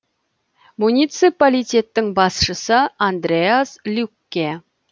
муниципалитеттің басшысы андреас люкке